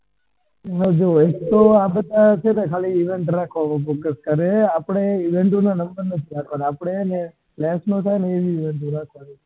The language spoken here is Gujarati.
જો એક તો આપડે ખાલી event ઉપર FOCUS કરીએ આપડ event ના number નથી રાખવાના આપડે આવી વસ્તુ રાખવાની